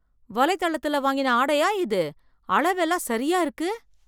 வலைத்தளத்துல வாங்கின ஆடையா இது, அளவெல்லாம் சரியா இருக்கு.